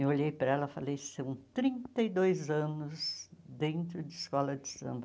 Eu olhei para ela e falei, são trinta e dois anos dentro de escola de samba.